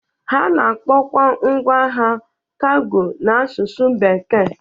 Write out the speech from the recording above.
Ha na-akpọkwa ngwa ahịa kago n'asụsụ bekee